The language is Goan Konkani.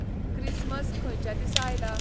क्रिस्मस खंयच्या दिसा आयला?